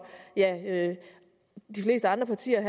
de fleste andre partiers